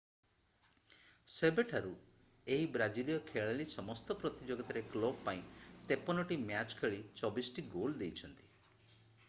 ସେବେଠାରୁ ଏହି ବ୍ରାଜିଲୀୟ ଖେଳାଳି ସମସ୍ତ ପ୍ରତିଯୋଗିତାରେ କ୍ଲବ୍ ପାଇଁ 53ଟି ମ୍ୟାଚ୍ ଖେଳି 24ଟି ଗୋଲ୍ ଦେଇଛନ୍ତି